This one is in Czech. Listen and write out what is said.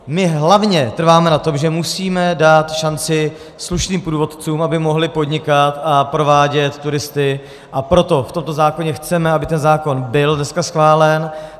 My hlavně trváme na tom, že musíme dát šanci slušným průvodcům, aby mohli podnikat a provádět turisty, a proto v tomto zákoně chceme, aby ten zákon byl dneska schválen.